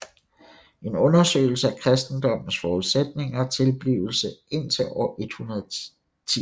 En undersøgelse af kristendommens forudsætninger og tilblivelse indtil år 110